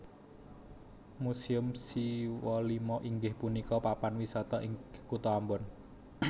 Museum Siwalima inggih punika papan wisata ing kuto Ambon